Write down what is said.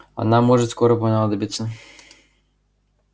она может скоро понадобиться